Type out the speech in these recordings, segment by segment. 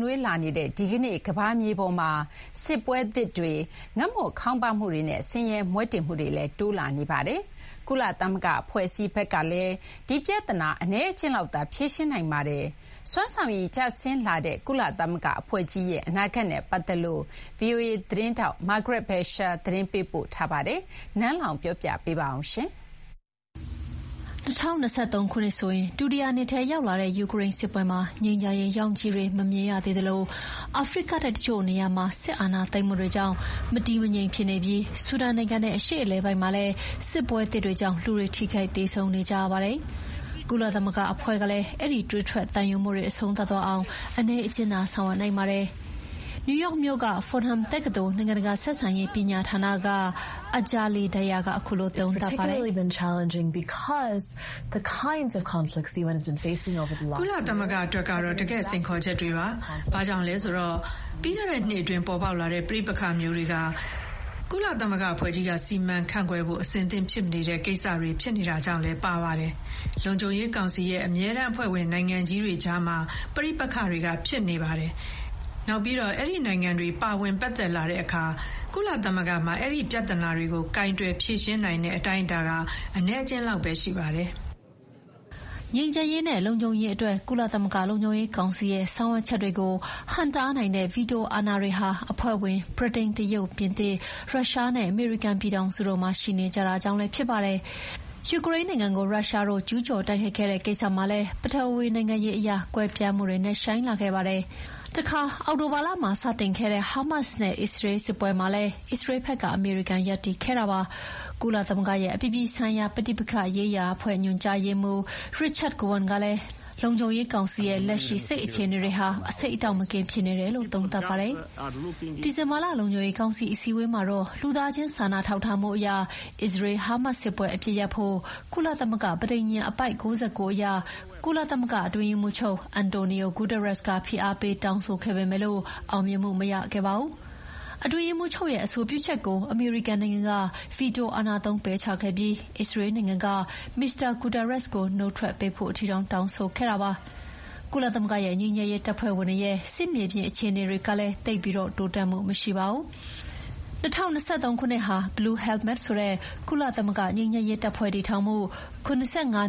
နွေးလာနေ တဲ့ဒီကနေ့ ကမ္ဘာမြေကြီးပေါ်မှာ စစ်ပွဲသစ်တွေ၊ ငတ်မွတ်ခေါင်းပါးမှုတွေနဲ့ ဆင်ရဲမွဲတေမှုတွေလည်း တိုးလာနေပါတယ်။ ကုလသမဂ္ဂအဖွဲ့အစည်းဘက်ကလည်း ဒီပြဿနာ အနည်းအကျဥ်းလောက်သာဖြေရှင်းနိုင်ပါတယ်။ စွမ်းဆောင်ရည်ကျဆင်းလာတဲ့ ကုသမဂ္ဂအဖွဲ့ကြီးရဲ့ အနာဂတ်နဲ့ပတ်သက်လို့ VOA သတင်းထောက် Margaret Besheer ကသတင်းပေးပို့ထားပါတယ်။ နန်းလောင်ဝ်က တင်ပြပေးထားပါတယ်။ ၂၀၂၃ ခုနှစ်ဆိုရင် ဒုတိယနှစ်ထဲရောက်လာတဲ့ယူကရိန်းစစ်ပွဲမှာ ငြိမ်းချမ်းရေးရောင်ခြည်တွေ မမြင်ရသေးသလို အာဖရိကတိုက်တချို့နေရာမှာ စစ်အာဏာသိမ်းမှုတွေကြောင့် မတည်မငြိမ်ဖြစ်နေပြီး ဆူဒန်နိုင်ငံနဲ့ အရှေ့အလယ်ပိုင်းမှာလည်း စစ်ပွဲသစ်တွေကြောင့် လူတွေ ထိခိုက်သေဆုံးနေကြရပါတယ်။ ကုလသမဂ္ဂအဖွဲ့ကလည်း အဲဒီ သွေးထွက်သံယိုမှုတွေ အဆုံးသတ်သွားအောင် အနည်းအကျဥ်းသာဆောင်ရွက်နိုင်ပါတယ်။ နယူးယောက်မြို့က Fordham တက္ကသိုလ်၊ နိုင်ငံတကာဆက်ဆံရေးပညာဌာနက Anjali Dayal ကခုလိုသုံးသပ်ပါတယ်။ “ကုလသမဂ္ဂအတွက်တော့ တကယ့် စိန်ခေါ်ချက်တွေဖြစ်ပါတယ်။ ဘာကြောင့်လဲဆိုတော့ ပြီးခဲ့တဲ့နှစ်အတွင်း ပေါ်ပေါက်လာတဲ့ ပဋိပက္ခမျိုးတွေဟာ ကုလသမဂ္ဂအဖွဲ့ကြီးက စီမံခန့်ခွဲဖို့ အဆင်သင့်ဖြစ်မနေတဲ့ ကိစ္စရပ်တွေဖြစ်နေတာကြောင့်လည်းပါပါတယ်။ လုံခြုံရေးကောင်စီရဲ့ အမြဲတမ်းအဖွဲ့ဝင်နိုင်ငံကြီးတွေကြားမှာ ပဋိပက္ခတွေဖြစ်နေပါတယ်။ နောက်ပြီးတော့ အဲဒီနိုင်ငံတွေ ပါဝင်ပတ်သက်လာတဲ့အခါ ကုလသမဂ္ဂမှာ အဲဒီပြဿနာတွေကို ကိုင်တွယ်ဖြေရှင်းနိုင်တဲ့အတိုင်းအတာ အနည်းအကျဥ်းလောက်သာ ရှိပါတယ်။” ငြိမ်းချမ်းရေးနဲ့ လုံခြုံရေးအတွက် ကုလသမဂ္ဂလုံခြုံရေးကောင်စီရဲ့ ဆောင်ရွက်ချက်တွေကို ဟန့်တားနိုင်တဲ့ ဗီတိုအာဏာတွေဟာ အဖွဲ့ဝင် ဗြိတိန်၊ တရုတ်၊ ပြင်သစ်၊ ရုရှားနဲ့ အမေရိကန်ပြည်ထောင်စုတို့မှာရှိနေကြတာကြောင့်လည်း ဖြစ်ပါတယ်။ ပြီးခဲ့တဲ့နှစ်ထဲမှာပဲ ယူကရိန်းနိုင်ငံကို ရုရုားတို့ ကျူးကျော်တိုက်ခိုက်တဲ့ကိစ္စမှာ ပထဝီနိုင်ငံရေးအရ ကွဲပြားမှုတွေ နက်ရှိုင်းလာခဲ့ပါတယ်။ တခါ အောက်တိုဘာလမှာစတင်ခဲ့တဲ့ ဟာမတ်စ်နဲ့ အစ္စရေးလ်စစ်ပွဲမှာလည်း အစ္စရေးဘက်က အမေရိကန်ရပ်တည်ခဲ့ပါတယ်။ ကုသမဂ္ဂရဲ့ အပြည်ပြည်ဆိုင်ရာ ပဋိပက္ခရေးရာအဖွဲ့ ညွှန်ကြားရေးမှူး Richard Gowan ကလည်း လုံခြုံရေးကောင်စီရဲ့ လက်ရှိ စိတ်အခြေအေနတွေ အဆိပ်အတောက်မကင်း (poisonous) ဖြစ်နေတယ်လို့ သုံးသပ်ပါတယ်။ ဒီဇင်ဘာလ လုံခြုံရေးကောင်စီအစည်းအဝေးမှာတော့ လူသားချင်းစာနာထောက်ထားမှုအရ အစ္စရေး-ဟာမတ်စ်စစ်ပွဲအပစ်ရပ်ဖို့ ကုလသမဂ္ဂပဋိညာဉ် အပိုဒ် ၉၉ အရ ကုလအတွင်းရေးမှူးချုပ် Antonio Guterres က ဖိအားပေးတောင်းဆိုခဲ့ပေမယ့် အောင်မြင်မှုမရခဲ့ပါဘူး။ အတွင်းရေးမှူးချုပ်ရဲ့အဆိုပြုချက်ကို အမေရိကန်နိုင်ငံက ဗီတိုအာဏာသုံးပယ်ချခဲ့ပြီး အစ္စရေးနိုင်ငံကလည်း မစ္စတာ ဂူတာရက်စ်ကို နုတ်ထွက်ပေးဖို့အထိ တောင်းဆိုခဲ့တာပါ။ ကုလသမဂ္ဂရဲ့ ငြိမ်းချမ်းရေးတပ်ဖွဲ့ဝင်တွေရဲ့ စစ်မြေပြင်မှာအခြေအနေတွေလည်း သိပ်ပြီးတိုးတက်မှုမရှိပါဘူး။ ၂၀၂၃ ခုနှစ်ဟာ blue helmets ဆိုတဲ့ ကုလငြိမ်းချမ်းရေးတပ်ဖွဲ့ တည်ထောင်မှု ၇၅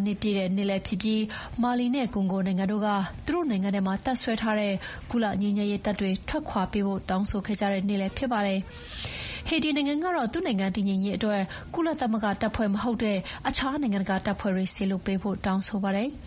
နှစ်ပြည့်လည်းဖြစ်ပြီး မာလီနဲ့ကွန်ဂိုနိုင်ငံတို့က သူတို့နိုင်ငံထဲမှာတပ်စွဲထားတဲ့ ကုလငြိမ်းချမ်းရေးတပ်တွေ ထွက်ခွါပေးဖို့ တောင်းဆိုခဲ့ကြတဲ့နှစ်လည်းဖြစ်ပါတယ်။ ဟေတီနိုင်ငံကတော့ သူ့နိုင်ငံတည်ငြိမ်ရေးအတွက် ကုလသမဂ္ဂတပ်ဖွဲ့ မဟုတ်တဲ့ အခြားနိုင်ငံတကာတပ်ဖွဲ့တွေ စေလွှတ်ပေးဖို့ တောင်းဆိုပါတယ်။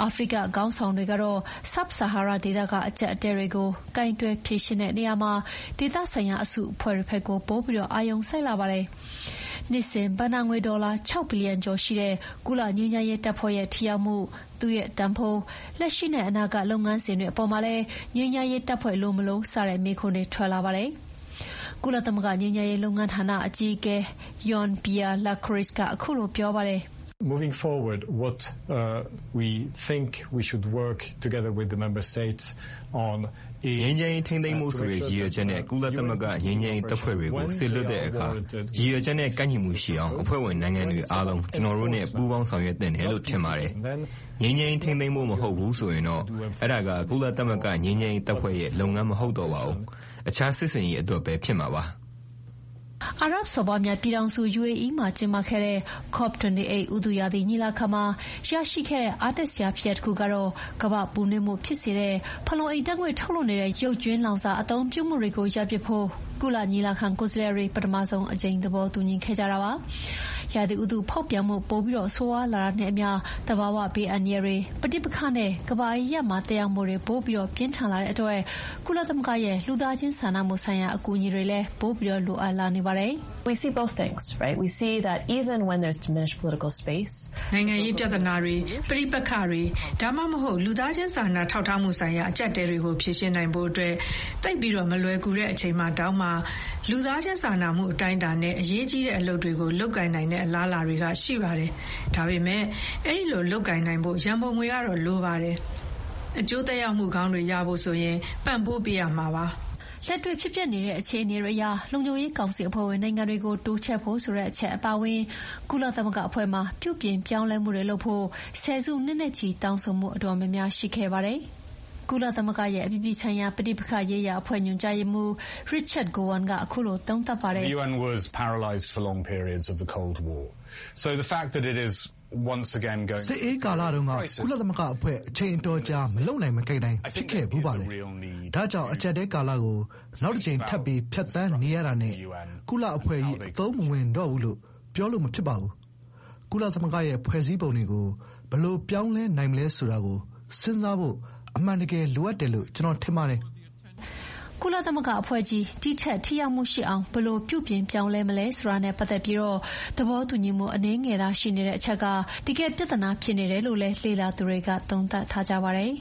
အာဖရိကခေါင်းဆောင်တွေကတော့ ဆာဟာရတောင်ပိုင်းဒေသက အကျပ်အတည်းတွေကို ကိုင်တွယ်ဖြေရှင်းဖို့ ဒေသဆိုင်ရာအစုအဖွဲ့တွေဘက်ကို ပိုပြီးအာရုံစိုက်လာပါတယ်။ နှစ်စဉ်ဘဏ္ဍာငွေဒေါ်လာ ၆ ဘီလီယံကျော်ရှိတဲ့ ကုလငြိမ်းချမ်းရေးတပ်ဖွဲ့ရဲ့ ထိရောက်မှု၊ သူ့ရဲ့တန်ဖိုး၊ လက်ရှိနဲ့ အနာဂတ်လုပ်ငန်းစဥ်တွေအေပါ်မှာလည်း ငြိမ်းချမ်းရေးတပ်ဖွဲ့ လိုမလို..စတဲ့ မေးခွန်းတွေလည်း ထွက်လာပါတယ်။ ကုလသမဂ္ဂငြိမ်းချမ်းရေးလုပ်ငန်းဌာနအကြီးအကဲ Jean Pierre Lacroix ကခုလိုပြောပါတယ်။ “ငြိမ်းချမ်းရေးထိန်းသိမ်းဖို့ဆိုတဲ့ ရည်ရွယ်ချက်နဲ့ ကုလဂ္ဂငြိမ်းချမ်းရေးတပ်ဖွဲ့တွေကို စေလွှတ်တဲ့အခါ ရည်ရွယ်ချက်နဲ့ ကိုက်ညီမှုရှိအောင် အဖွဲ့ဝင်နိုင်ငံတွေ အားလုံး ကျနော်တို့နဲ့ ပူးပေါင်းဆောင်ရွက်သင့်တယ်လို့ ထင်ပါတယ်။ ငြိမ်းချမ်းရေးထိန်းသိမ်းဖို့မဟုတ်ဘူးဆိုရင်တော့ အဲဒါက ကုလသမဂ္ဂငြိမ်းချမ်းရေးတပ်ဖွဲ့ရဲ့ လုပ်ငန်းမဟုတ်တော့ပါဘူး။ အခြားစစ်ဆင်ရေးအတွက်ပဲ ဖြစ်မှာပါ။” အာရပ်စော်ဘွားများပြည်ထောင်စု၊ UAE မှာကျင်းပခဲ့တဲ့ COP28 ဥတုရာသီညီလာခံမှာ ရခဲ့တဲ့အားတက်စရာဖြစ်ရပ်တခုက ကမ္ဘာ့ပူနွေးမှုဖြစ်စေတဲ့ ဖန်လုံအိမ်ဓာတ်ငွေ့တွေထုတ်နေတဲ့ ရုပ်ကြွင်းလောင်စာအသုံးပြုမှုတွေကို ရပ်ပစ်ဖို့ ညီလာခံကိုယ်စားလှယ်တွေ ပထမဆုံးအကြိမ် သဘောတူညီခဲ့ကြတာပါ။ ရာသီဥတုဖောက်ပြန်မှု ပိုဆိုးရွားလာတာနဲ့အမျှ သဘာဝဘေးအန္တရာယ်တွေ၊ ပဋိပက္ခတွေနဲ့ ကမ္ဘာအရပ်ရပ်မှာ သက်ရောက်မှုတွေ ပိုပြီးပြင်းထန်လာတဲ့အတွက် ကုလသမဂ္ဂရဲ့ လူသားချင်းစာနာမှုဆိုင်ရာအကူအညီတွေလည်း ပိုပြီး လိုအပ်လာနေတာပါ။ “နိုင်ငံရေးပြဿနာတွေ၊ ပဋိပက္ခတွေ ဒါမှမဟုတ် လူသားချင်းစာနာထောက်ထားမှုဆိုင်ရာ အကျပ်အတည်းတွေကို ဖြေရှင်းနိုင်ဖို့ သိပ်မလွယ်ကူတဲ့အချိန်မှာတောင် လူသားချင်း စာနာထောက်ထားမှု အတိုင်းအတာနဲ့ အရေးကြီးတဲ့အလုပ်တွေ လုပ်ကိုင်နိုင်တဲ့အလားအလာတွေ ရှိပါတယ်။ ဒါပေမယ့် အဲဒီလိုလုပ်ကိုင်နိုင်ဖို့ ရန်ပုံငွေတွေတော့ လိုပါတယ်။ အကျိုးသက်ရောက်မှုကောင်းတွေရဖို့ ပံ့ပိုးပေးရမှာပါ။” လက်တွေ့ဖြစ်ပျက်နေတဲ့အခြေအနေတွေအရ လုံခြုံရေးကောင်စီအဖွဲ့ဝင်နိုင်ငံတွေကို တိုးချဲ့ဖို့ဆိုတဲ့အချက်အပါအဝင် ကုလသမဂ္ဂအဖွဲ့မှာ ပြုပြင်ပြောင်းလဲမှုတွေလုပ်ဖို့ ဆယ်စုနှစ်နဲ့ချီတောင်းဆိုမှုအတော်များများရှိခဲ့ပါတယ်။ “စစ်အေးကာလတုန်းက ကုလသမဂ္ဂအဖွဲ့ က အချိန်အတော်ကြာ မလုပ်နိုင်မကိုင်နိုင် ဖြစ်ခဲ့ဖူးပါတယ်။ ဒါကြောင့် အကျပ်အတည်းကာလကို နောက်တကြိမ် ထပ်ပြီး ဖြတ်သန်းနေရတာနဲ့ ကုလအဖွဲ့ကြီး အသုံးမဝင်တော့ဘူးလို့ ပြောလို့မဖြစ်ပါဘူး။ ကုလသမဂ္ဂရဲ့ဖွဲ့စည်းပုံတွေကို ဘယ်လိုပြောင်းလဲနိုင်မလဲဆိုတာကို စဉ်းစားဖို့ အမှန်တကယ် လိုအပ်တယ်လို့ ကျနော် ထင်ပါတယ်။” ကုလသမဂ္ဂအဖွဲ့ကြီး ဒီထက်ထိရောက်မှုရှိအောင် ဘယ်လိုပြုပြင်ပြောင်းလဲမလဲဆိုတာနဲ့ ပတ်သက်ပြီးသဘောတူညီမှု အနည်းငယ်သာရှိနေတဲ့အချက်က တကယ့်ပြဿနာဖြစ်တယ်လို့လည်း လေ့လာသူတွေက သုံးသပ်ကြပါတယ်